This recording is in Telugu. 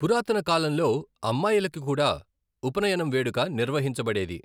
పురాతన కాలంలో, అమ్మాయిలకు కూడా ఉపనయనం వేడుక నిర్వహించబడేది.